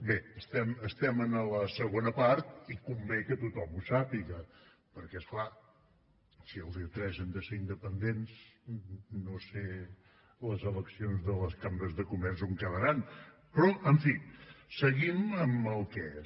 bé estem en la segona part i convé que tothom ho sàpiga perquè és clar si el dia tres hem de ser independents no sé les eleccions de les cambres de comerç on quedaran però en fi seguim amb el que és